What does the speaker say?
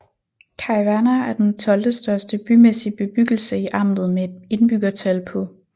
Cajvana er den tolvtestørste bymæssig bebyggelse i amtet med et indbyggertal på